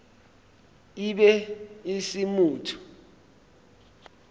e be e se motho